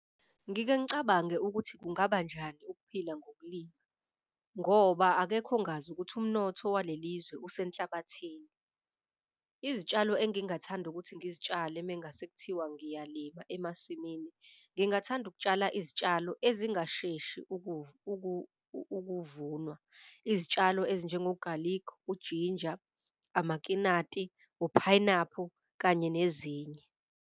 Ngike ngicabange ukuthi kungaba njani ukuphila ngokulima ngoba akekho ongazi ukuthi umnotho waleli izwe usenhlabathini. Izitshalo engingathanda ukuthi ngizitshale mengase kuthiwa ngiyalima emasimini, ngingathanda ukutshala izitshalo ezingasheshi ukuvunwa, izitshalo ezinjengogalikhi, ujinja, amakinati, uphayinaphu, kanye nezinye.